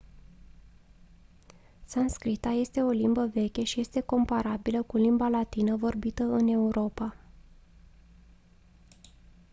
sanscrita este o limbă veche și este comparabilă cu limba latină vorbită în europa